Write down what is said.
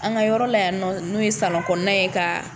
An ka yɔrɔ la yan nɔ n'o ye kɔnɔna ye ka